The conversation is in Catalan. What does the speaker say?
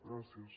gràcies